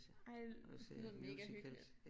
Ej det lyder mega hyggeligt